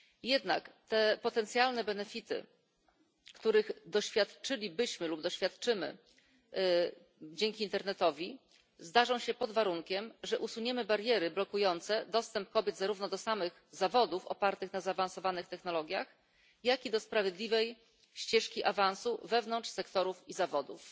Jednak te potencjalne korzyści, których doświadczylibyśmy lub doświadczymy dzięki internetowi, zdarzą się pod warunkiem, że usuniemy bariery blokujące dostęp kobiet zarówno do samych zawodów opartych na zaawansowanych technologiach, jak i do sprawiedliwej ścieżki awansu wewnątrz tych sektorów i zawodów.